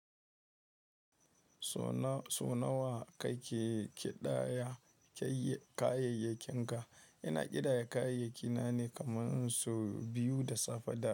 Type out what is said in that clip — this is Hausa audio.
So na so nawa kake ƙidaya kayyayakinka? Ina ƙidaya kayyayakina ne kaman so biyu da safe da yawa.